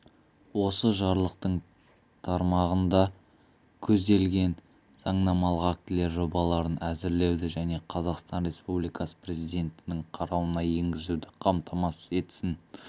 осы жарлықтың тармағында көзделген заңнамалық актілер жобаларын әзірлеуді және қазақстан республикасы президентінің қарауына енгізуді қамтамасыз етсін